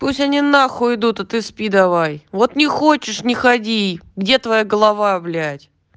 пусть они на хуй идут а ты спи давай вот не хочешь не ходи где твоя голова блять